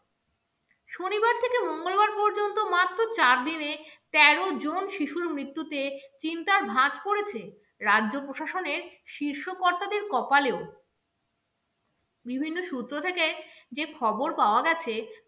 গত চার দিনে তেরো জন শিশুর মৃত্যুতে চিন্তার ভাঁজ পড়েছে রাজ্য প্রশাসনের শীর্ষ কর্তাদের কপালেও বিভিন্ন সূত্র থেকে যে খবর পাওয়া গেছে